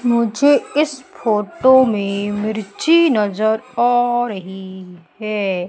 मुझे इस फोटो में मिर्ची नजर आ रही है।